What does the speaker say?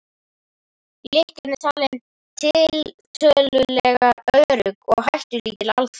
Lykkjan er talin tiltölulega örugg og hættulítil aðferð.